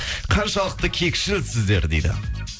қаншалықты кекшілсіздер дейді